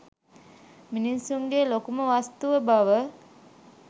මිනිසුන්ගේ ලොකුම වස්තුව බව